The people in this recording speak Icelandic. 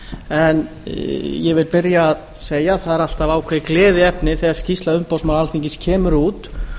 en ég vil byrja á að segja að það er alltaf ákveðið gleðiefni þegar skýrsla umboðsmanns alþingis kemur út